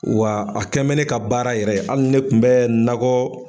Wa a kɛnbɛ ne ka baara yɛrɛ ye. Hali ne tun bɛ nakɔ